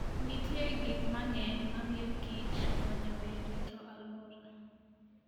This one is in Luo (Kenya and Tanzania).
Nitie gik mang'eny mamiyokich konyo e rito alwora.